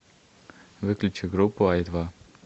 выключи группу ай два